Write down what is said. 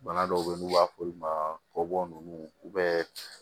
Bana dɔw be ye n'u b'a f'olu ma kɔbɔ nunnu